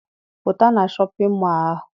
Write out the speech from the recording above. Pụta na shọpịn mọọ ahụ!